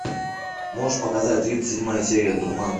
можешь показать тридцать седьмая серия дурман